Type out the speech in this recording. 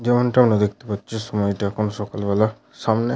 যেমনটা আমরা দেখতে পাচ্ছি সময়টা এখন সকালবেলাসামনে--